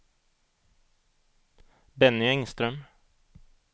Benny Engström